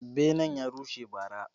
Benen ya rushe ba ra